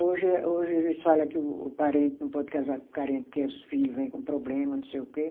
Hoje é, hoje eles fala que o parente não pode casar com o parente porque os filho vêm com problema, não sei o quê.